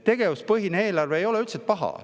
Tegevuspõhine eelarve ei ole üldse paha.